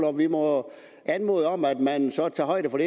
og vi må anmode om at man så tager højde for